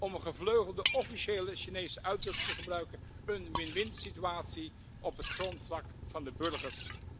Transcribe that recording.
Om een gevleugelde officiële Chinese uitdrukking te gebruiken een win winsituatie op het grondvlak van de burgers!